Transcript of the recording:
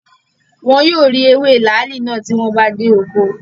Wọn yóò rí ewé làálì náà tí wọ́n bá dé oko